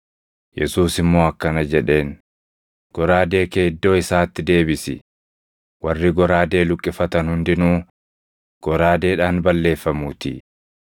Yesuus immoo akkana jedheen; “Goraadee kee iddoo isaatti deebisi; warri goraadee luqqifatan hundinuu goraadeedhaan balleeffamuutii.